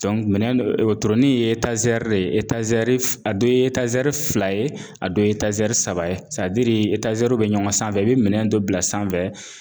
minɛn wotoronin ye de ye a dɔw ye fila ye a dɔ ye saba bɛ ɲɔgɔn sanfɛ i bɛ minɛn dɔ bila sanfɛ